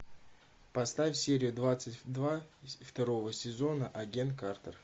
поставь серия двадцать два второго сезона агент картер